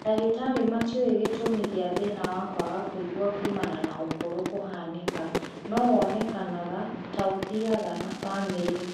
Ndagĩtarĩ matiũĩ gĩtũmi kĩa thĩna wa kwaga kũigua kumana na ũkũrũ kũhanĩka, no wonekaga ta ũthiaga na bamĩrĩ